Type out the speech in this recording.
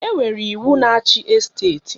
Enwere iwu na-achị esteti